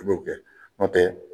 Kulo kɛ ɔntɛ